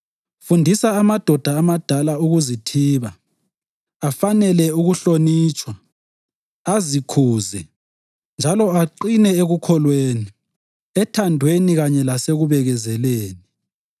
Fundisa amadoda amadala ukuzithiba, afanele ukuhlonitshwa, azikhuze, njalo aqine ekukholweni, ethandweni kanye lasekubekezeleni.